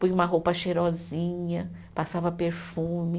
Põe uma roupa cheirosinha, passava perfume.